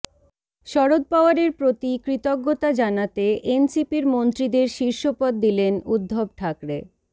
শরদ পাওয়ারের প্রতি কৃতজ্ঞতা জানাতে এনসিপির মন্ত্রীদের শীর্ষপদ দিলেন উদ্ধব ঠাকরে